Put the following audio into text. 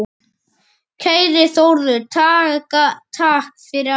Kæri Þórður, takk fyrir allt.